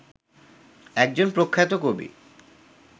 একজন প্রখ্যাত কবি